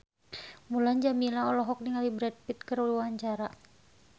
Mulan Jameela olohok ningali Brad Pitt keur diwawancara